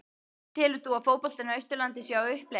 Telur þú að fótboltinn á Austurlandi sé á uppleið?